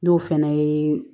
N'o fɛnɛ ye